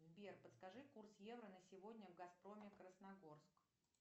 сбер подскажи курс евро на сегодня в газпроме красногорск